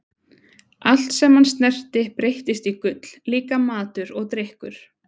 Allt sem hann snerti breyttist í gull, líka matur og drykkur.